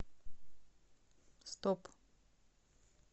стоп